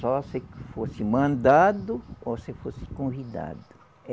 Só se fosse mandado ou se fosse convidado.